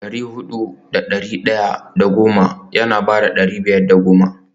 dari hudu da dari daya da goma yana baka dari biyar da goma